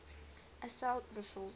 assault rifles